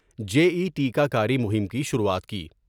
جے E T کہ کاری مہم کی شروعات کی ۔